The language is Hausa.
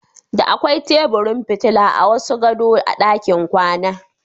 Da akwai teburin fitila a wasu gadon a ɗakin kwana.